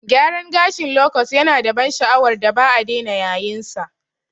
Gyaran gashin lokot yanada ban sha'awar da ba'a dena yayinsa.